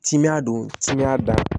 Timinan don timiya da